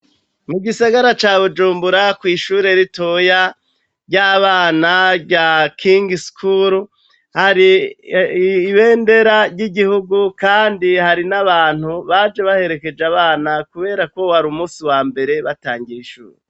Mu gisagara ca bujumbura kw'ishure ritoya ry'abana rya king skuru hari ibendera ry'igihugu, kandi hari n'abantu baje baherekeje abana, kubera ko wari umusi wa mbere batangishwe.